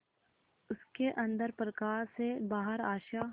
उसके अंदर प्रकाश है बाहर आशा